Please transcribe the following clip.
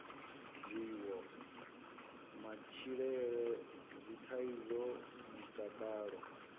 zwiwo matshilele dzithaidzo mutakalo